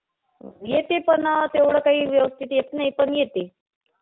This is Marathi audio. येते. पण अं तेवढं काही व्यवस्थित येत नाही, पण येते.